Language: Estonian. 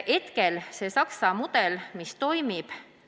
Hetkel see Saksa mudel toimib.